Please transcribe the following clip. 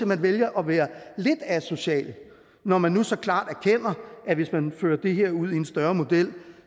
man vælger at være lidt asocial når man nu så klart erkender at hvis man fører det her ud i en større model